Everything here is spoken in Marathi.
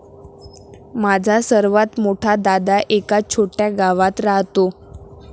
माझा सर्वात मोठा दादा एका छोट्या गावात राहतो.